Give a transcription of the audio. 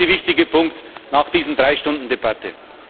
Das ist der erste wichtige Punkt nach diesen drei Stunden Debatte.